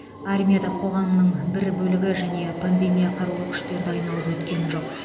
армия да қоғамның бір бөлігі және пандемия қарулы күштерді айналып өткен жоқ